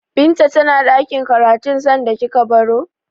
Binta tana ɗakin karatun sanda kika baro?